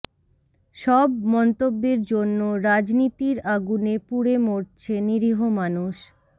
সব মন্তব্যের জন্য রাজনীতির আগুনে পুড়ে মরছে নিরীহ মানুষ